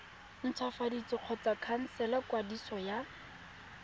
ntshwafatsa kgotsa khansela kwadiso ya